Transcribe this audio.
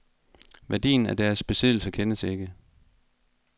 Værdien af deres besiddelser kendes ikke.